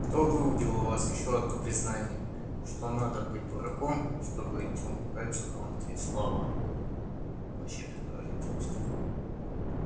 кто выудил у вас ещё одно признание что надо быть дураком чтобы идти умирать за громкие слова вообще без выразительности